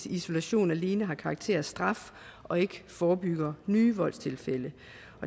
isolation alene har karakter af straf og ikke forebygger nye voldstilfælde